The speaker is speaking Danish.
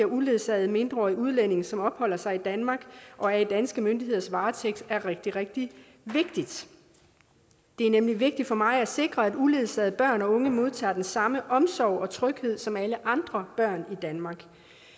uledsagede mindreårige udlændinge som opholder sig i danmark og er i danske myndigheders varetægt er rigtig rigtig vigtigt det er nemlig vigtigt for mig at sikre at uledsagede børn og unge modtager den samme omsorg og tryghed som alle andre børn i danmark